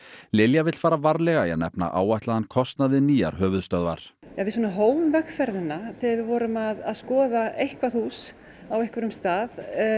Lilja vill fara varlega í að nefna áætlaðan kostnað við nýjar höfuðstöðvar við hófum vegferðina þegar við vorum að skoða eitthvað hús á einhverjum stað